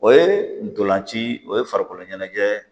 O ye ntolan ci o ye farikolo ɲɛnajɛ